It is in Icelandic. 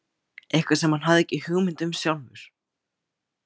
Eitthvað sem hann hafði ekki hugmynd um sjálfur.